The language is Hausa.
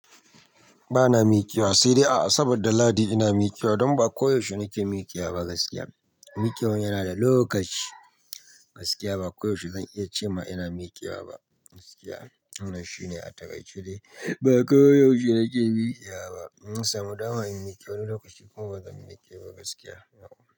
Bana miƙewa, sai dai a asabar da lahadi ina miƙewa don ba koyaushe nake miƙewa ba gaskiya. Miƙewan yana da lokaci gaskiya ba koyaushe zan iya ce ma ina miƙewa ba gaskiya. Wannan shine a takaice dai ba koyaushe nake miƙewa ba. Inna samu dama in miƙe wani lokaci kuma bazan miƙe ba gaskiya.